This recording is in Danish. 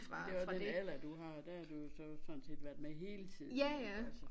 Det også den alder du har der har du jo sådan set været med hele tiden altså